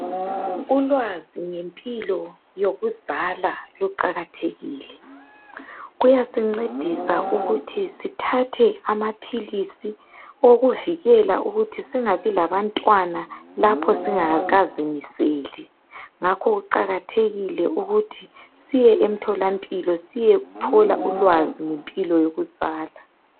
Ulwazi ngempilo yokuzala luqakathekile. Kuyasincedisa ukuthi sithathe amaphilisi okuvikela ukuthi singabi labantwana lapho singakazimiseli. Ngakho kuqakathekile ukuthi siye emtholampilo siyethola ulwazi ngempilo yokuzala.